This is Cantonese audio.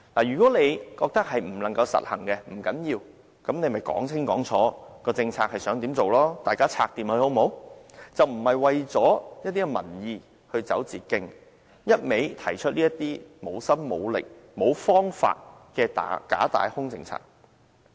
如果她認為不能實行，不要緊，便講清講楚政策想怎樣做，大家可以商討和解決，而不要為了民意而走捷徑，一味提出這些無心無力、無方法的假大空政策。